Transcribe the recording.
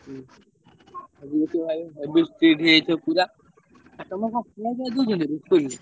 ହୁଁ ଆଗୁକୁ ସେ ଭାବେ ସବୁ strict ହେଇଯାଇଥିବ ପୁରା। ଆଉ ତମର କଣ ଖାୟା ପିୟାକୁ ଦଉଛନ୍ତି school ରେ?